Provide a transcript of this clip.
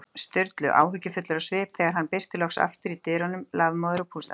Sturlu, áhyggjufullir á svip, þegar hann birtist loks aftur í dyrunum, lafmóður og pústandi.